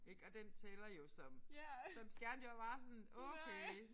Ik og den tæller jo som som skærm jeg var bare sådan okay